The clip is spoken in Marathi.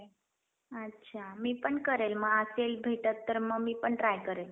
अच्छा मी पण करेल मग असेल भेटत तर मग मी पण try करेल.